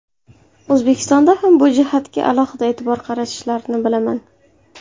O‘zbekistonda ham bu jihatga alohida e’tibor qaratishlarini bilaman.